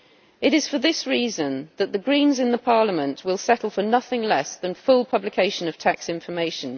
It is for this reason that the Greens in Parliament will settle for nothing less than full publication of tax information.